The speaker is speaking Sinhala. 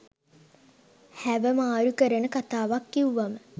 හැව මාරු කරන කතාවක් කිව්වම